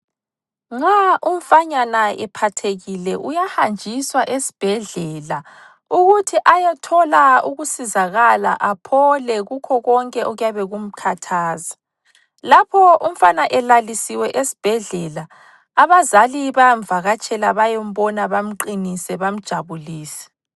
Nxa umfanyana ephathekile uyahanjiswa esibhedlela ukuthi ayethola ukusizakala aphole kukho konke okuyabe kumkhathaza, lapha umfana elalisiwe esibhedlela abazali bayamvakatshela bayembona bamqinise bamjabulise.